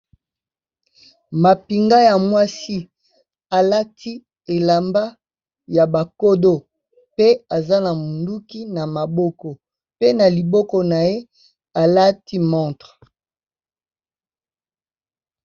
Mapinga ya mwasi alati elamba ya ba kodo pe aza na monduki na maboko, pe na liboko na ye alati montre.